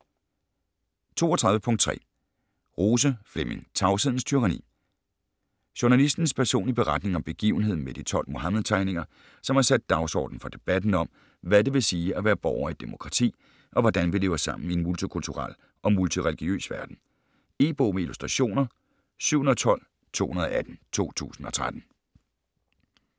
32.3 Rose, Flemming: Tavshedens tyranni Journalistens personlige beretning om begivenheden med de 12 Muhammed-tegninger, som har sat dagsordenen for debatten om, hvad det vil sige at være borger i et demokrati, og hvordan vi lever sammen i en multikulturel og multireligiøs verden. E-bog med illustrationer 712218 2013.